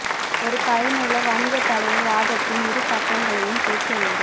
ஒரு பயனுள்ள வணிகத் தலைவர் வாதத்தின் இரு பக்கங்களையும் கேட்க வேண்டும்